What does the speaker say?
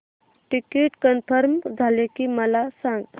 ticket confirm झाले की मला सांग